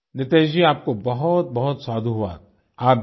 thank यूनितीश जी आपको बहुतबहुत साधुवाद